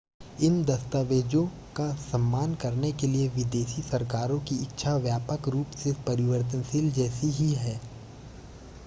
इन दस्तावेज़ों का सम्मान करने के लिए विदेशी सरकारों की इच्छा व्यापक रूप से परिवर्तशील जैसी ही है